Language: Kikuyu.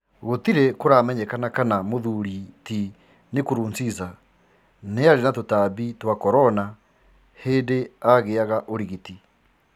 Gũtiri kuramenyekana kana Bwana Nkurunziza niarĩ na tutambi twa corona hĩndĩ agiaga ũrigiti